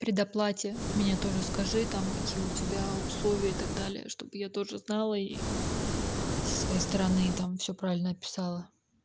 предоплате меня тоже скажи там какие у тебя условия и так далее чтобы я тоже знала и со своей стороны и там всё правильно описала